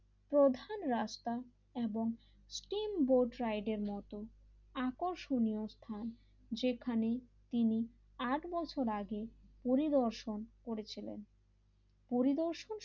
প্রধান রাস্তা এবং স্টিম বোর্ড রাইড এর মতন আকর্ষণীয় স্থান যেখানে তিনি আট বছর আগে পরিদর্শন করেছিলেন পরিদর্শন,